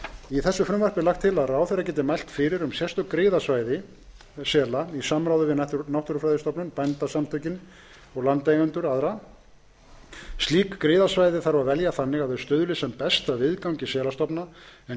í frumvarpinu er lagt til að ráðherra geti mælt fyrir um sérstök griðasvæði sela í samráði við náttúrufræðistofnun bændasamtök íslands og landeigendur slík griðasvæði þarf að velja þannig að þau stuðli sem best að viðgangi selastofna en